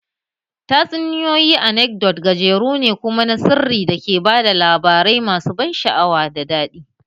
Tatsuniyoyi anekdot gajeru ne kuma na sirri da ke ba da labarai masu ban sha'awa ko daɗi